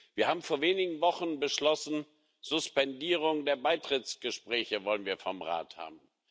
Wir haben vor wenigen Wochen beschlossen Suspendierung der Beitrittsgespräche wollen wir vom Rat haben.